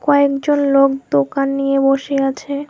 কয়েকজন লোক দোকান নিয়ে বসে আছে।